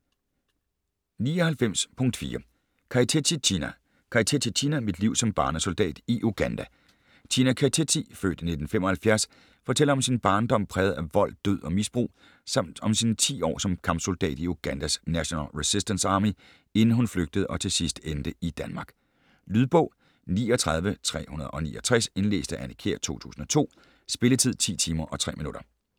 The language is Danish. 99.4 Keitetsi, China Keitetsi, China: Mit liv som barnesoldat i Uganda China Keitetsi (f. 1975) fortæller om sin barndom præget af vold, død og misbrug samt om sine 10 år som kampsoldat i Ugandas National Resistance Army inden hun flygtede og til sidst endte i Danmark. Lydbog 39369 Indlæst af Anne Kjær, 2002. Spilletid: 10 timer, 3 minutter.